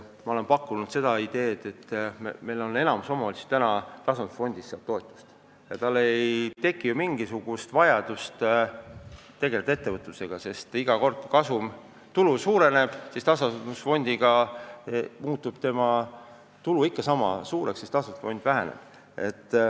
Ma olen pakkunud seda ideed, et enamik omavalitsusi saab tasandusfondist toetust ja neil ei teki mingisugust vajadust tegeleda ettevõtlusega, sest kui kasum, tulu suureneb, siis tasandusfond väheneb.